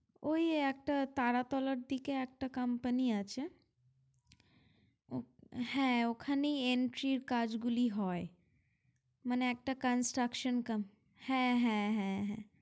ওই একটা তারাতলার দিকে একটা company আছে হ্যাঁ ওখানেই entry র কাজগুলি হয় মানে একটা construction হ্যাঁ হ্যাঁ হ্যাঁ হ্যাঁ